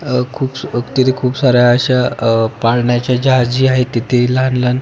अह खुप तिथ खुप साऱ्या अश्या अह पाळण्याच्या ज्या तिथे लहान लहान--